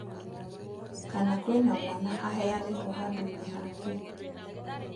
Kana kwĩna mwana aheanĩtwo handũinĩ hake.